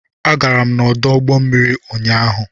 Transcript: Agara m n'ọdụ ụgbọ mmiri ụnyaahụ